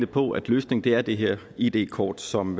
på at løsningen er det her id kort som